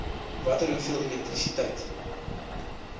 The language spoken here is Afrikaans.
watter hoeveel elektrisiteit